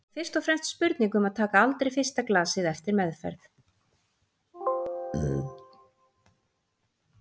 Þetta er fyrst og fremst spurning um að taka aldrei fyrsta glasið eftir meðferð.